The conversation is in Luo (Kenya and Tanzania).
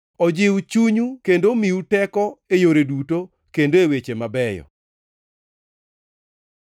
ojiw chunyu kendo omiu teko e yore duto kendo e weche mabeyo.